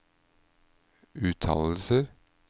uttalelser